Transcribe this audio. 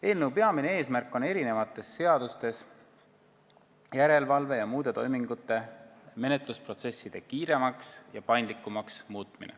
Eelnõu peamine eesmärk on eri seadustes muuta järelevalve- ja muude toimingute menetlusprotsesse kiiremaks ja paindlikumaks.